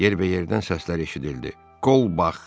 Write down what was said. Yerbəyərdən səslər eşidildi: “Kolbax!”